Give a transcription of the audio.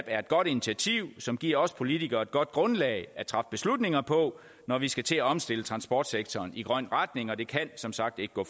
er et godt initiativ som giver os politikere et godt grundlag at træffe beslutninger på når vi skal til at omstille transportsektoren i grøn retning og det kan som sagt ikke gå